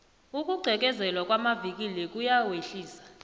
ukugqekezelwa kwamavikili kuyawehlisa